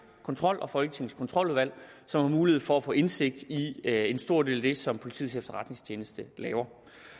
kontrol og folketingets kontroludvalg som har mulighed for at få indsigt i en stor del af det som politiets efterretningstjeneste laver